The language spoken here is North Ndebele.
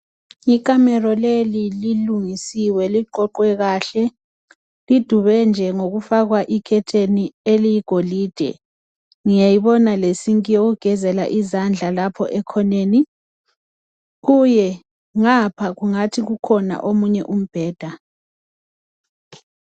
Ikamelo leli lilungisiwe liqoqwe kahle lidube nje ngokufakwa ikhetheni eliyigolide ngiyayibona le sinki yokugezela izandla lapho ekhoneni kuye ngapha kungathithi kukhona omunye umbheda.